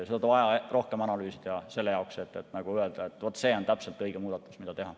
Seda on vaja rohkem analüüsida, selle jaoks, et öelda, et vaat see on täpselt õige muudatus, mida teha.